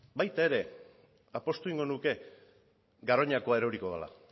baita ere apustu egingo nuke garoñakoa eroriko dela